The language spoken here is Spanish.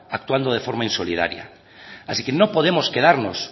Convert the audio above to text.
actuando de forma insolidaria así que no podemos quedarnos